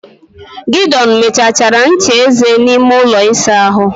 Gideon mechachara ncha eze n'ime ụlọ ịsa ahụ m.